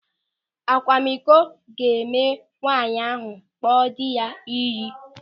Akwamiko ga-eme ka nwaanyị ahụ kpọọ dị ya ịyị.